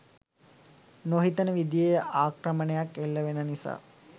නොහිතන විදිහේ ආක්‍රමණයක් එල්ල වෙන නිසා.